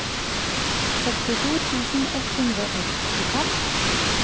sekstito tusen ett hundre og syttifem